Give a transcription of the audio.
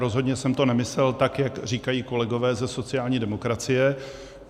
Rozhodně jsem to nemyslel tak, jak říkají kolegové ze sociální demokracie.